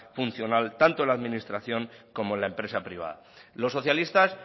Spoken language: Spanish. funcional tanto en la administración como en la empresa privada los socialistas